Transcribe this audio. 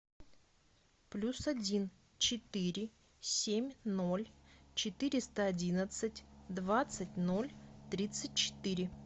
плюс один четыре семь ноль четыреста одиннадцать двадцать ноль тридцать четыре